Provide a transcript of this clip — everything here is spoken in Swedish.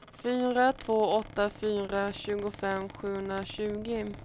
fyra två åtta fyra tjugofem sjuhundratjugo